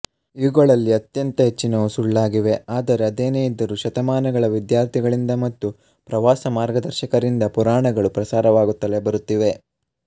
ಇವುಗಳಲ್ಲಿ ಅತ್ಯಂತ ಹೆಚ್ಚಿನವು ಸುಳ್ಳಾಗಿವೆ ಆದರೆ ಅದೇನೇ ಇದ್ದರು ಶತಮಾನಗಳ ವಿದ್ಯಾರ್ಥಿಗಳಿಂದ ಮತ್ತು ಪ್ರವಾಸ ಮಾರ್ಗದರ್ಶಕರಿಂದ ಪುರಾಣಗಳು ಪ್ರಸಾರವಾಗುತ್ತಲೆ ಬರುತ್ತಿವೆ